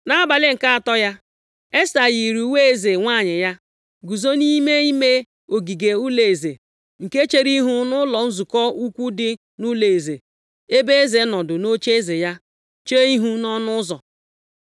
Nʼabalị nke atọ ya, Esta yiri uwe eze nwanyị ya, guzo nʼime ime ogige ụlọeze, nke chere ihu nʼụlọ nzukọ ukwu dị nʼụlọeze, ebe eze nọdụ nʼocheeze ya chee ihu nʼọnụ ụzọ.